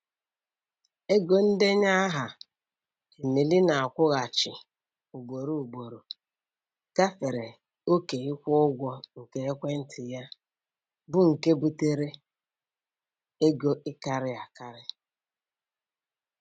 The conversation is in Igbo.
Ego ndenye aha Emily na-akwụghachi ugboro ugboro gafere oke ịkwụ ụgwọ nke ekwentị ya, bụ nke butere ego ịkarị akarị.